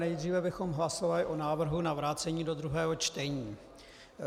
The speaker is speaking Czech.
Nejdříve bychom hlasovali o návrhu na vrácení do druhého čtení.